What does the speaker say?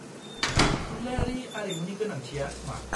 -थुनलायारि आरिमुनि गोनांथिया मा?